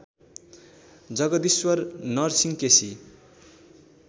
Jagdishwar Narsingh KC